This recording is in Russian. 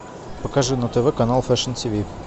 покажи на тв канал фэшн ти ви